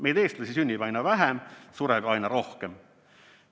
Meid, eestlasi, sünnib aina vähem, sureb aina rohkem.